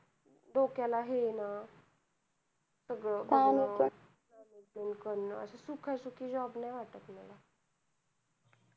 डोक्याला हेना सगळं बघणं arrangement करण सुखासुखी job नाही वाटत मला